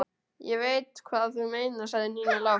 Ég veit hvað þú meinar sagði Nína lágt.